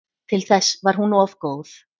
Til þess var hún of góð.